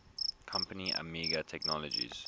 company amiga technologies